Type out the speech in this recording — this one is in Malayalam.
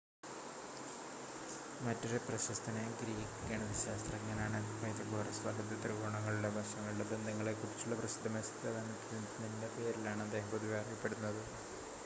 മറ്റൊരു പ്രശസ്തനായ ഗ്രീക്ക് ഗണിതശാസ്ത്രജ്ഞനാണ് പൈതഗോറസ് വലത് ത്രികോണങ്ങളുടെ വശങ്ങളുടെ ബന്ധങ്ങളെ കുറിച്ചുള്ള പ്രസിദ്ധമായ സിദ്ധാന്തത്തിൻ്റെ പേരിലാണ് അദ്ദേഹം പൊതുവെ അറിയപ്പെടുന്നത്